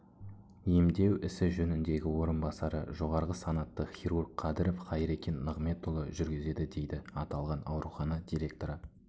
емдеу ісі жөніндегі орынбасары жоғарғы санатты хирург қадіров хайрекен ниғметұлы жүргізеді дейді аталған аурухана директоры